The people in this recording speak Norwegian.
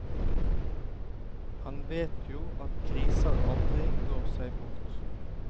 Han vet jo at griser aldri går seg bort.